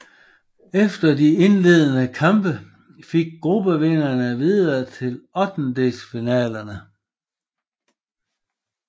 Efter de indledende kampe gik gruppevinderen videre til ottendedelsfinalerne